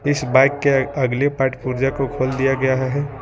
इस बाइक के अगले पार्ट पुर्जा को खोल दिया गया है।